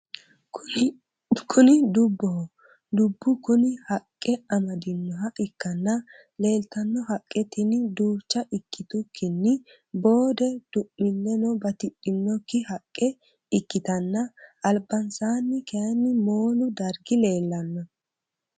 Kuni dubboho dubbu kuni haqqe amadinoha ikkanna leeltanno haqqe tini duucha ikkitukkinni boode du'mileno batidhinokki haqqe ikkitanna albansaanni kaaynni moolu dargi leellanno.